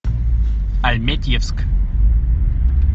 альметьевск